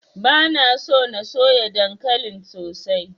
Bana so na soya dankalin sosai.